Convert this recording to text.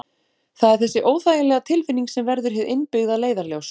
Það er þessi óþægilega tilfinning sem verður hið innbyggða leiðarljós.